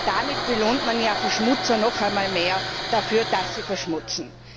Denn damit belohnt man ja Verschmutzer noch mehr dafür, dass sie verschmutzen.